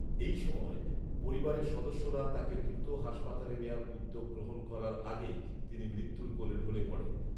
এ সময় পরিবারের সদস্যরা তাকে দ্রুত হাসপাতালে নেয়ার উদ্যোগ গ্রহণ করার আগেই তিনি মৃত্যুুর কোলে ঢলে পড়েন